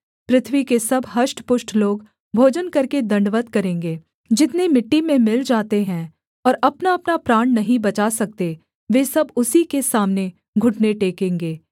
पृथ्वी के सब हष्टपुष्ट लोग भोजन करके दण्डवत् करेंगे वे सब जितने मिट्टी में मिल जाते हैं और अपनाअपना प्राण नहीं बचा सकते वे सब उसी के सामने घुटने टेकेंगे